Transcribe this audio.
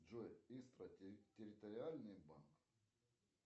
джой истра территориальный банк